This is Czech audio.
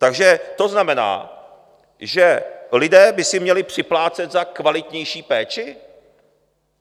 Takže to znamená, že lidé by si měli připlácet za kvalitnější péči?